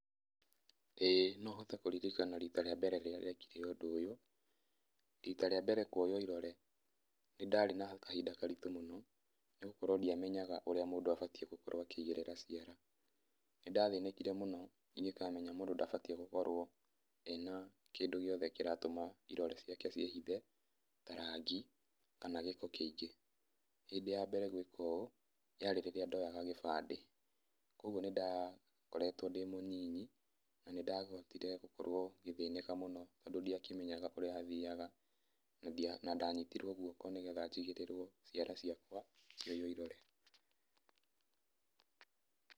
ĩĩ nohote kũririkana rita rĩa mbere rĩrĩa ndekire ũndũ ũyũ, rita rĩa mbere kuoywo irore, nĩndarĩ na kahinda karitũ mũno, nĩgũkorwo ndiamenyaga ũrĩa mũndũ abatie gũkorwo akĩigĩrĩra ciara, nĩndathĩnĩkire mũno ingĩkamenya mũndũ ndabatiĩ, gũkorwo, ena kĩndũ gĩothe kĩratũma, irore ciake ciĩhithe, ta rangi, kana gĩko kĩingĩ. Hĩndĩ ya mbere gwĩka ũũ, yarĩ rĩrĩa ndoyaga gĩbandĩ, kwoguo nĩnda, koretwo ndĩ mũnini, nanĩndahotire, gũkorwo, ngĩthĩnĩka mũno, tondũ ndiakĩmenyaga ũrĩa hathiaga, nandia, nandanyitirwo guoko, nĩgetha njigĩrĩrwo ciara ciakwa, ngioywo irore.